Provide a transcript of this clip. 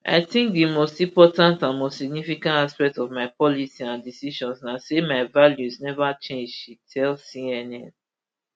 i tink di most important and most significant aspect of my policy and decisions na say my values neva change she tell cnn